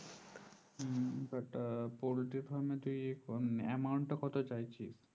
হম poultry farm তুই amount টা কত চাইছিস?